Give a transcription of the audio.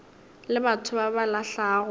le batho ba ba lahlago